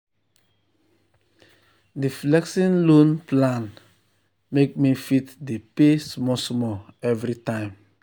di flexible loan plan make me fit dey pay small small every time.